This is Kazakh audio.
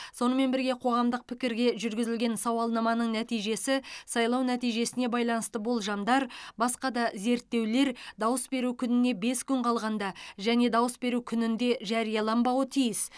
сонымен бірге қоғамдық пікірге жүргізілген сауалнаманың нәтижесі сайлау нәтижесіне байланысты болжамдар басқа да зерттеулер дауыс беру күніне бес күн қалғанда және дауыс беру күнінде жарияланбауы тиіс